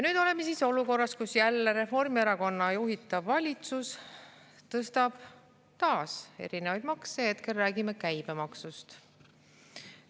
Nüüd oleme olukorras, kus jälle Reformierakonna juhitav valitsus tõstab taas makse, hetkel räägime käibemaksust.